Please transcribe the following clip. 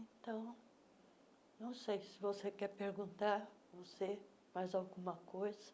Então, não sei se você quer perguntar, você, mais alguma coisa.